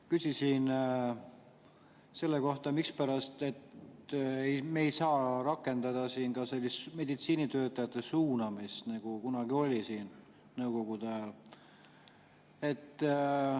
Küsisin selle kohta, mispärast me ei saa rakendada sellist meditsiinitöötajate suunamist, nagu oli kunagi Nõukogude ajal.